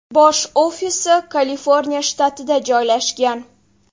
Bosh ofisi Kaliforniya shtatida joylashgan.